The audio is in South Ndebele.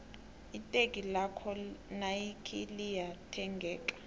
iteki lakwo nayikhi liya thengeka